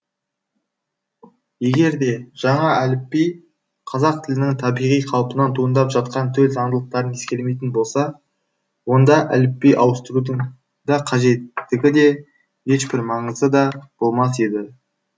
егер де жаңа әліпби қазақ тілінің табиғи қалпынан туындап жатқан төл заңдылықтарын ескермейтін болса онда әліпби ауыстырудың да қажеттігі де ешбір маңызы да болмас еді